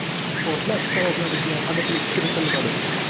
Portlash sabablariga aniqlik kiritilmadi.